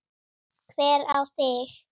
Hver á þig?